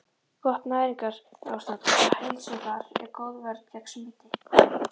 Gott næringarástand og heilsufar er góð vörn gegn smiti.